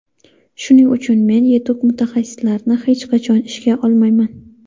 Shuning uchun men yetuk mutaxassislarni hech qachon ishga olmayman.